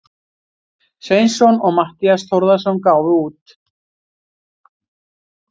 Sveinsson og Matthías Þórðarson gáfu út.